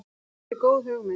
Þetta er góð hugmynd.